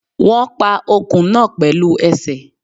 Wón pa ọkùn náà pẹ̀lú ẹsẹ̀